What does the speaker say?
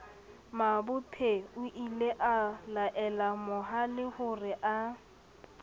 mabophe oile a laelamohalehore a